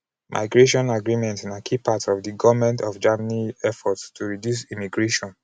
migration agreement na key part of di goment of germany efforts to reduce immigration.